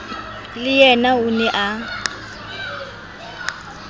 le yena o ne a